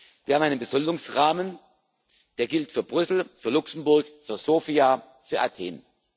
Wir haben einen Besoldungsrahmen, der gilt für Brüssel, für Luxemburg, für Sofia, für Athen.